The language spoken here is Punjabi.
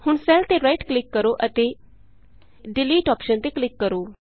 ਹੁਣ ਸੈੱਲ ਤੇ ਰਾਈਟ ਕਲਿਕ ਕਰੋ ਅਤੇ ਡਿਲੀਟ ਅੋਪਸ਼ਨ ਤੇ ਕਲਿਕ ਕਰੋ